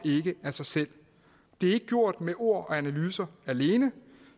af sig selv det er ikke gjort med ord og analyser alene